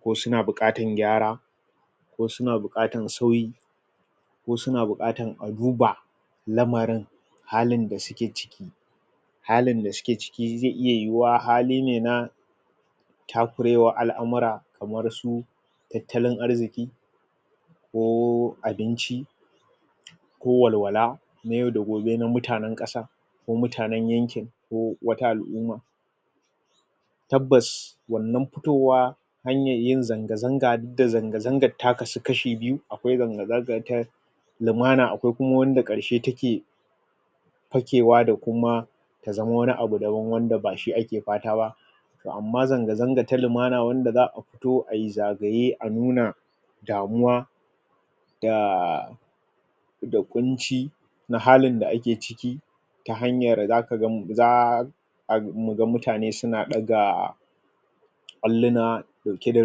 ko suna buƙatar gyara ko suna buƙatan sauyi ko suna buƙatan a duba lamarin halin da suke ciki halin da suke ciki zai iya yiwuwa hali ne na takurewar al'amura kamar su tattalin arziki ko abinci ko walwala na yau da gobe na mutanen ƙasar ko mutanen yankin ko wata al'umma tabbas wannan futowa hanyar yin zanga zanga ne da zanga zangar ta kasu kashi biyu sai zanga zanga ta lumana akwai kuma wanda karshe take fakewa da kuma ka zama wani abu daban wanda bashi ake fata ba to amman zanga zanga ta lumana wanda za'a toh ayi zagaye a nuna damuwa da da ƙunci na halin da ake ciki ta hanyar zaka zamu za muga mutane suna ɗaga alluna dauke da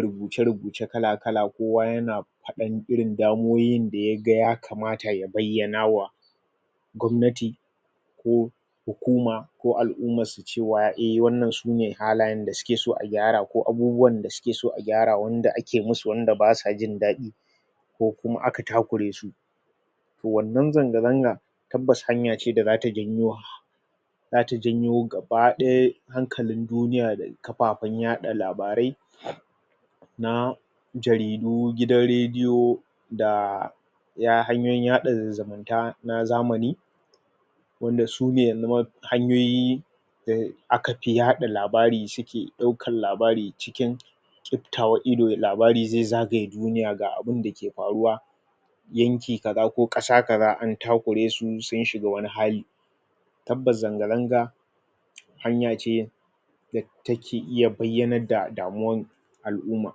rubuce rubuce kala kala kowa yana faɗan irin damuwowin da yake ga ya kamata ya bayyanawa gwamnati ko hukuma ko al'ummar su cewa a wannan sune halayen da suke son a gyara ko abubuwan da suke suke son a gyara wanda ake musu wanda basa jin daɗi ko kuma aka takure su to wannan zanga zangan tabbas hanya ce da zata janyowa sake janyo gaba ɗaya hankalin duniya da kafafen yaɗa labarai na jaridu, gidan radio da iya hanyoyin yaɗa zumunta na zamani wanda yanxu maf hanyoyi da aka fi yaɗa labarin shi ke daukan labari cikin ƙiftawar ido, labari zai zagaya duniya ga abinda ke faruwa yanki ka za ko ƙasa ka za an takure su sun shiga wani hali tabbas zanga zanga hanya ce da take iya bayyanar da damuwan al'umma